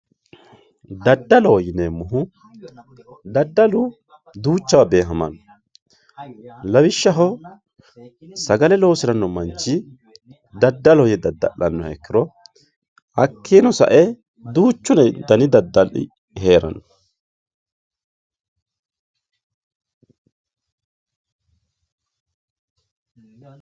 Dadaloho yineemo woyite dadalu duuchawa beehamano lawishaho sagale dada`le loosiranoha dada`ani no yine woshinani hakiino sa`e duuchu dani dadali heerano